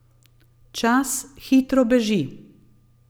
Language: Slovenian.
Čas hitro beži.